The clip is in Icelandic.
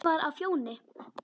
Hann var á Fjóni.